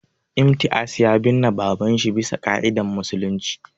Imtiaz ya binne babanshi bisa ƙa'idan musulunci